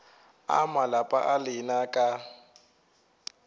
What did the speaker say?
a malapa a lena ka